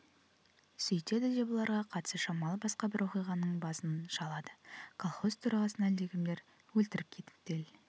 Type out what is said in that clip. сөйтеді де бұларға қатысы шамалы басқа бір оқиғаның басын шалады колхоз төрағасын әлдекімдер өлтіріп кетіпті ел